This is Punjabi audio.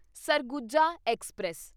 ਸਰਗੁਜਾ ਐਕਸਪ੍ਰੈਸ